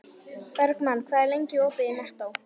Bergmann, hvað er lengi opið í Nettó?